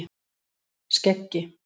Skeggi